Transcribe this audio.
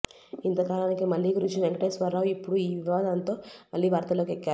ఇంత కాలానికి మళ్ళీ కృషి వెంకటేశ్వర్రావు ఇప్పుడు ఈ వివాదంతో మళ్లీ వార్తల్లోకి ఎక్కారు